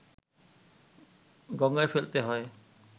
গঙ্গায় ফেলতে হয়